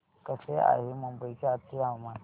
कसे आहे मुंबई चे आजचे हवामान